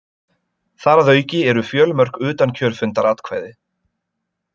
Þar að auki eru fjölmörg utankjörfundaratkvæði